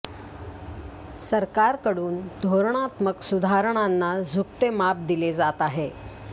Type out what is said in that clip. सरकारकडून धोरणात्मक सुधारणांना झुकते माप दिले जात आहे